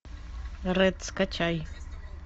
рэд скачай